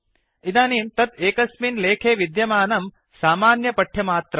इदानीं तत् एकस्मिन् लेखे विद्यमानं सामन्यपठ्यमात्रम्